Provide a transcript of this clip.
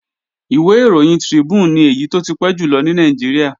Ìwé ìròyìn Tribune ni èyí tó ti pẹ́ jùlọ ní Nàìjíríà